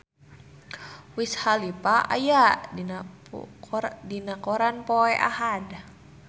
Wiz Khalifa aya dina koran poe Ahad